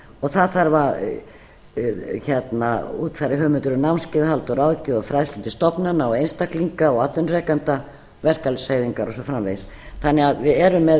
það þarf að útfæra hugmyndir um námskeiðahald og ráðgjöf og fræðslu til stofnana og einstaklinga og atvinnurekenda verkalýðshreyfingar og svo framvegis þannig að við erum með bæði